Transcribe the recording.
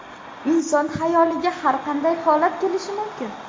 Inson xayoliga har qanday holat kelishi mumkin.